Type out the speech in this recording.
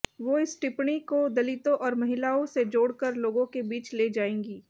वो इस टिप्पणी को दलितों और महिलाओं से जोड़कर लोगों के बीच ले जाएंगी